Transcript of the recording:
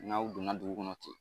N'aw donna dugu kɔnɔ ten